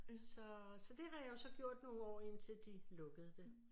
Så så det har jeg jo så gjort nogle år indtil de lukkede det